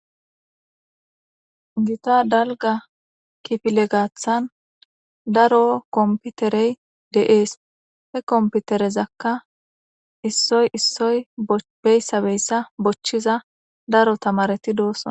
gita dalga kifile gaathan daro komputerey deees he komputerezakka issoy issoy beyssabeyssa bochchiza daro tamareti doosona